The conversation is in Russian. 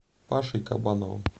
пашей кабановым